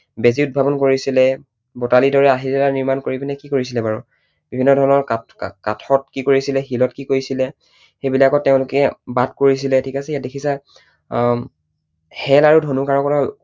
বেজী উদ্ভাৱন কৰিছিলে। বতালীৰ দৰে আহিলা নিৰ্মাণ কৰি পিনে কি কৰিছিলে বাৰু? বিভিন্ন ধৰণৰ কাঠত কি কৰিছিলে, শিলত কি কৰিছিলে, সেইবিলাকত তেঁওলোকে বাট কৰিছিলে, ঠিক আছে, ইয়াত দেখিছা আহ শেল আৰু ধনু কাঁড়ৰ